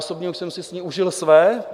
Osobně už jsem si s ní užil své.